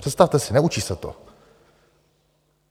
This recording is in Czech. Představte si, neučí se to.